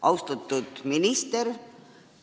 Austatud minister!